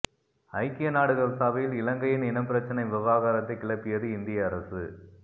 ஐக்கிய நாடுகள் சபையில் இலங்கையின் இனப்பிரச்சனை விவகாரத்தை கிளப்பியது இந்திய அரசு